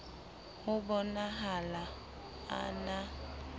ho bo nahala a na